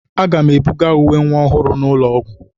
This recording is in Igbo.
Aga m ebuga uwe nwa ọhụrụ n'ụlọ ọgwụ.